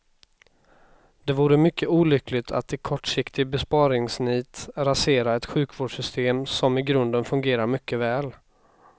Det vore mycket olyckligt att i kortsiktig besparingsnit rasera ett sjukvårdssystem som i grunden fungerar mycket väl.